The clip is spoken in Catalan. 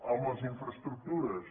amb les infraestructures